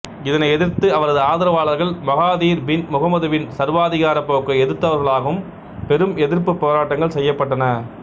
இதனை எதிர்த்து அவரது ஆதரவளார்கள் மகாதீர் பின் முகமதுவின் சர்வதிகாரப் போக்கை எதிர்த்தவர்களாலும் பெரும் எதிர்ப்புப் போராட்டங்கள் செய்யப்பட்டன